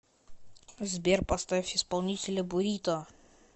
сбер поставь исполнителя бурито